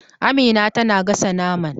Amina tana gasa naman